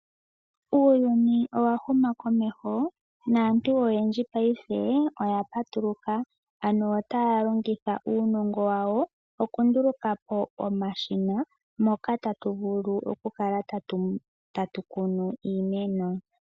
Uuyuni owa huma komeho naantu oyendji paife oya patuluka, ano otaya longitha uunongo wawo okunduluka po omashina moka tatu vulu okukala tatu kunu iimeno.